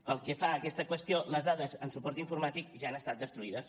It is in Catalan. pel que fa a aquesta qüestió les dades en suport informàtic ja han estat destruïdes